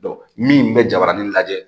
min bɛ jabaranin lajɛ